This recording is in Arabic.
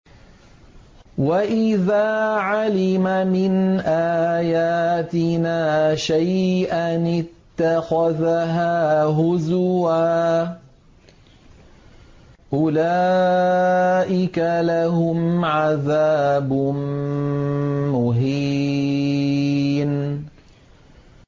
وَإِذَا عَلِمَ مِنْ آيَاتِنَا شَيْئًا اتَّخَذَهَا هُزُوًا ۚ أُولَٰئِكَ لَهُمْ عَذَابٌ مُّهِينٌ